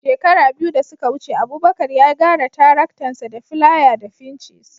Shekara biyu da suka wuce Abubakar ya gyara taraktansa da filaya da fincis